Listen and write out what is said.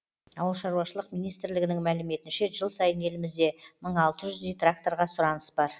ауылшаруашылық министрлігінің мәліметінше жыл сайын елімізде мың алты жүздей тракторға сұраныс бар